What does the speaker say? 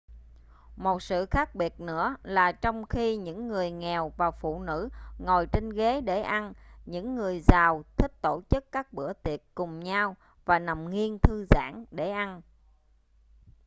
một sự khác biệt nữa là trong khi những người nghèo và phụ nữ ngồi trên ghế để ăn những người giàu thích tổ chức các bữa tiệc cùng nhau và nằm nghiêng thư giãn để ăn